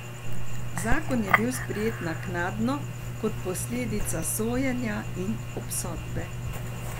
Zakon je bil sprejet naknadno, kot posledica sojenja in obsodbe.